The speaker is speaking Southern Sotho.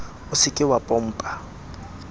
o se ke wa pompa